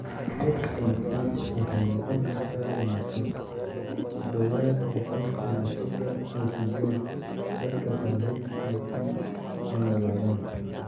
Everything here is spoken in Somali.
HPS waxay noqon kartaa dhimasho; ku dhawaad ​boqolkiba sodon iyo sideed dadka qaba HPS ma noolaadaan.